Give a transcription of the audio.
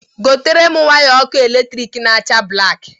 Gotere m waya ọkụ elektrik na-acha blaki!